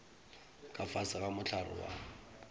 ka fase ga mohlare wa